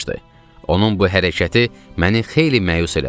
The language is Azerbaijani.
Onun bu hərəkəti məni xeyli məyus elədi.